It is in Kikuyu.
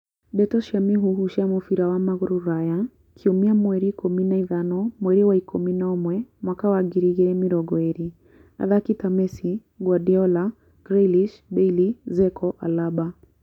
Ndeto cia mũhuhu cia mũbira wa magũrũ Rũraya kiumia mweri ikũmi na ithano mweri wa ikũmi na ũmwe mwaka wa ngiri igĩrĩ mĩrongo ĩrĩ athaki ta Messi, Guardiola, Grealish, Bailly, Dzeko , Alaba